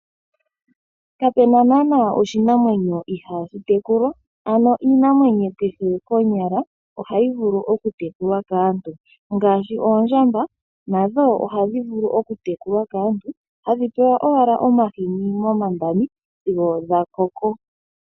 Kapena naana oshinamwenyo ihashi tekulwa ano iinamwenyo kehe konyala ohayi vulu oku tekulwa kaantu ngaashi oondjamba nadho ohadhi vulu oku tekulwa kaantu hadhi pewa owala omahini momandami sigo dha koko.